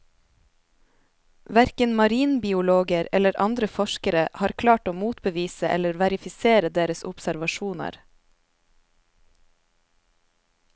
Hverken marinbiologer eller andre forskere har klart å motbevise eller verifisere deres observasjoner.